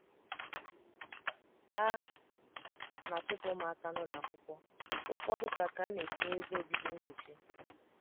A na - achụpụ ụmụaka n’ụlọ akwụkwọ, ụfọdụ ka ka ana etinye ebe obibi nkuchi.